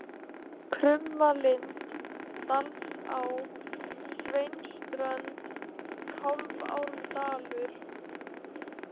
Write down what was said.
Krummalind, Dalsá, Sveinsströnd, Kálfárdalur